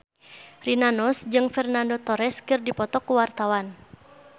Rina Nose jeung Fernando Torres keur dipoto ku wartawan